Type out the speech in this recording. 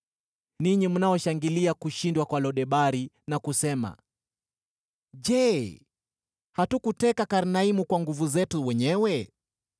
ninyi mnaoshangilia kushindwa kwa Lo-Debari na kusema, “Je, hatukuteka Karnaimu kwa nguvu zetu wenyewe?”